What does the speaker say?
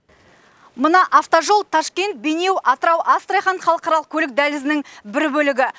мына автожол ташкент бейнеу атырау астрахань халықаралық көлік дәлізінің бір бөлігі